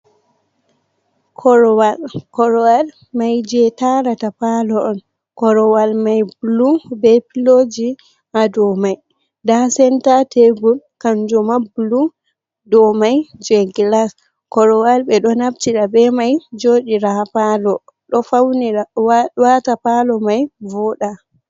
Korowal. korowal mai je tarata palo on, korowal mai bulu be piloji ha do mai nda senta tebur kanjuma blue , ɗo mai je glas korowal ɓe ɗo naftira be mai joɗiraha palo, do wata palo mai voɗa.